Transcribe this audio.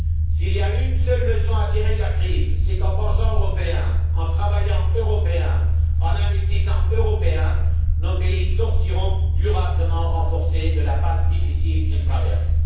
S'il y a une seule leçon à tirer de la crise, c'est qu'en pensant européen, en travaillant européen, en investissant européen, nos pays sortiront durablement renforcés de la passe difficile qu'ils traversent.